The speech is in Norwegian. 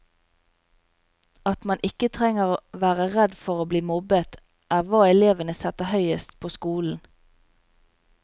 At man ikke trenger være redd for å bli mobbet, er hva elevene setter høyest på skolen.